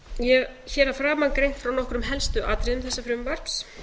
ég hef hér að framan greint frá nokkrum helstu atriðum þessa frumvarps